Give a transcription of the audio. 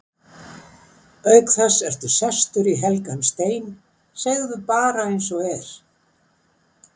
Auk þess ertu sestur í helgan stein, segðu bara eins og er.